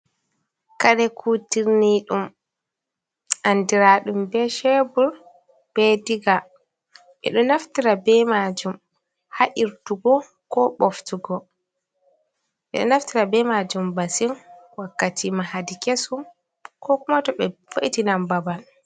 Kare kutirni ɗum andiraɗum be shebur be diga ɓeɗo naftira be majum ha’irtugo ko boftugo. ɓeɗo naftira be majum masin wakkati mahadi kesu ko kuma to ɓe vo’itinan babal.